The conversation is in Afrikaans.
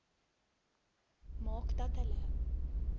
maak dat hulle